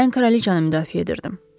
Mən kraliçanı müdafiə edirdim.